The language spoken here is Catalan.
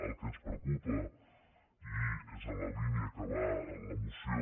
el que ens preocupa i és en la línia en què va la moció